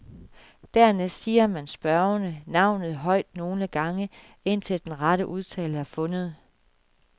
Dernæst siger man spørgende navnet højt nogle gange, indtil den rette udtale er fundet.